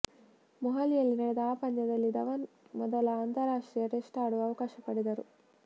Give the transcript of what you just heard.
ಮೊಹಾಲಿಯಲ್ಲಿ ನಡೆದ ಆ ಪಂದ್ಯದಲ್ಲಿ ಧವನ್ ಮೊದಲ ಅಂತರರಾಷ್ಟ್ರೀಯ ಟೆಸ್ಟ್ ಆಡುವ ಅವಕಾಶ ಪಡೆದರು